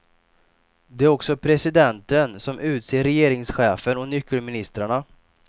Det är också presidenten som utser regeringschefen och nyckelministrarna.